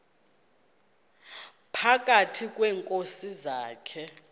phakathi kweenkosi zakhe